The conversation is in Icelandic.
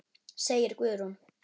segir Guðrún.